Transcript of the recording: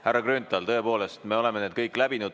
Härra Grünthal, tõepoolest, me oleme kõik need läbinud.